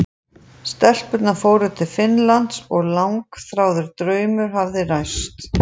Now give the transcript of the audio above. Stelpurnar fóru til Finnlands og langþráður draumur hafði ræst.